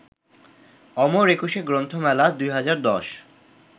অমর একুশে গ্রন্থমেলা ২০১০